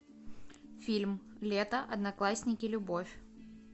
фильм лето одноклассники любовь